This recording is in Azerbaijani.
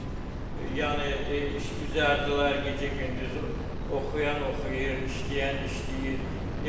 Yəni işgüzardılar, gecə-gündüz oxuyan oxuyur, işləyən işləyir.